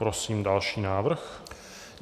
Prosím další návrh.